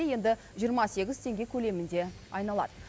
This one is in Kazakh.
енді жиырма сегіз теңге көлемінде айналады